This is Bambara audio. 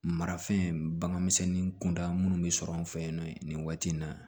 Marafɛn baganmisɛnnin kunda minnu bɛ sɔrɔ an fɛ yen nɔ nin waati in na